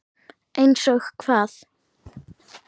Einsog hvað?